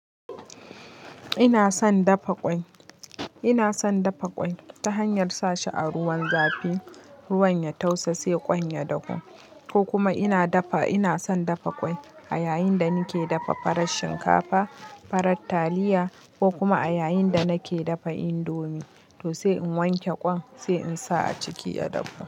Ina son dafa ƙwai, ina son dafa ƙwai ta hanyar sashi a ruwan zafi, ruwan ya tausa sai ƙwai ya dahu. Ko kuma ina dafa, ina son dafa ƙwai a yayin da nake dafa farar shinkafa, farar taliya ko kuma a yayin da nake dafa indomie to sai in wanke ƙwai sai in sa a ciki ya dahu.